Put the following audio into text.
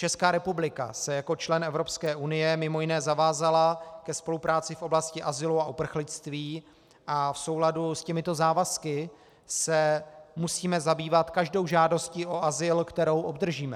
Česká republika se jako člen Evropské unie mimo jiné zavázala ke spolupráci v oblasti azylu a uprchlictví a v souladu s těmito závazky se musíme zabývat každou žádostí o azyl, kterou obdržíme.